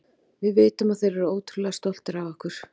Við vitum að þeir eru ótrúlega stoltir af okkur.